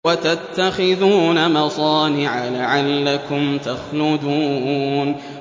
وَتَتَّخِذُونَ مَصَانِعَ لَعَلَّكُمْ تَخْلُدُونَ